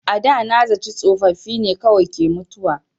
A da na zaci tsofaffi ne kawai ke mutuwa.